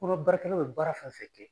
Fɔlɔ baarakɛlaw bɛ baara fɛn fɛn kɛ